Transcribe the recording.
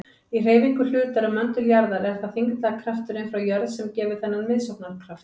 Í hreyfingu hlutar um möndul jarðar er það þyngdarkrafturinn frá jörð sem gefur þennan miðsóknarkraft.